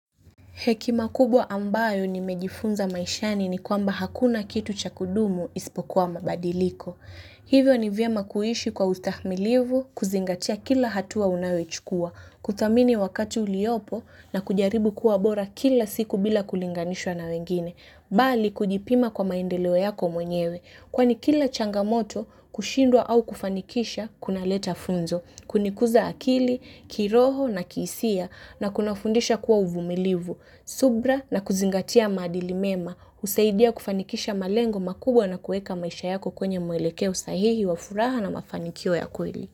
Hekima kubwa ambayo nimejifunza maishani ni kwamba hakuna kitu cha kudumu isipokuwa mabadiliko. Hivyo ni vyema kuishi kwa utahimilivu, kuzingatia kila hatua unayoichukua, kuthamini wakati uliopo na kujaribu kuwa bora kila siku bila kulinganishwa na wengine. Bali kujipima kwa maendeleo yako mwenyewe. Kwani kila changamoto, kushindwa au kufanikisha, kunaleta funzo. Kunikuza akili, kiroho na kihisia na kunafundisha kuwa uvumilivu. Subra na kuzingatia madili mema, husaidia kufanikisha malengo makubwa na kueka maisha yako kwenye mwelekeo usahihi wa furaha na mafanikio ya kweli.